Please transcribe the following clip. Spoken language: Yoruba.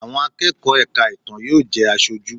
Àwọn akẹ́kọ̀ọ́ ẹ̀ka ìtàn yóò jẹ́ Aṣojú.